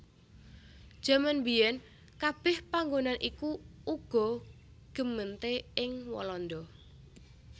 Jaman mbiyèn kabèh panggonan iku uga gemeente ing Walanda